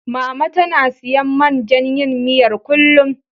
Mama tana siyan man jan yin miyar, kullum.